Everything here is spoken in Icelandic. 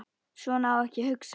Svona á ekki að hugsa.